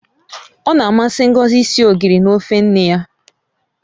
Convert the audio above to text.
Ọ na-amasị Ngozi isi ogiri na ofe nne ya.